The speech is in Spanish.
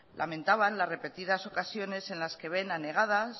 lamentaban las repetidas ocasiones en las que ven anegados